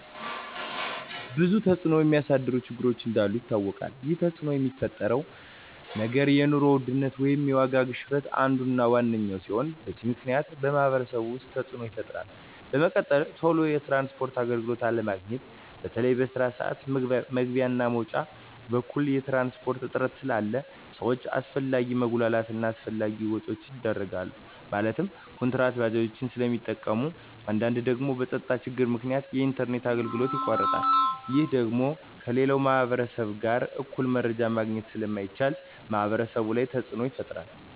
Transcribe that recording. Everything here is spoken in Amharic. ብዙ ተፅዕኖ የሚያሳድሩ ችግሮች እንዳሉ ይታወቃል ይህ ተፅዕኖ የሚፈጥረው ነገር የኑሮ ውድነት ወይም የዋጋ ግሽበት አንዱ እና ዋነኛው ሲሆን በዚህ ምክንያት በማህበረሰቡ ውስጥ ተፅዕኖ ይፈጥራል በመቀጠል ቶሎ የትራንስፖርት አገልግሎት አለማግኘት በተለይ በስራ ስዓት መግቢያ እና መውጫ በኩል የትራንስፖርት እጥረት ስላለ ሰዎች አላስፈላጊ መጉላላት እና አላስፈላጊ ወጪዎች ይዳረጋሉ ማለትም ኩንትራት ባጃጆችን ስለሚጠቀሙ በአንዳንድ ደግሞ በፀጥታ ችግር ምክንያት የኢንተርኔት አገልግሎቶች ይቋረጣሉ ይህ ደግሞ ከሌላው ማህበረሰብ ጋር እኩል መረጃ ማግኘት ስለማይቻል ማህበረሰቡ ላይ ተፅዕኖ ይፈጥራል